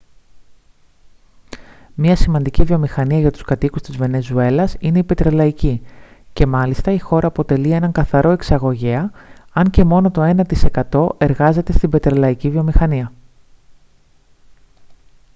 μια σημαντική βιομηχανία για τους κατοίκους της βενεζουέλας είναι η πετρελαϊκή και μάλιστα η χώρα αποτελεί έναν καθαρό εξαγωγέα αν και μόνο το ένα τοις εκατό εργάζεται στην πετρελαϊκή βιομηχανία